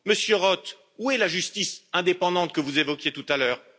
Monsieur Roth, où est la justice indépendante que vous évoquiez tout à l'heure?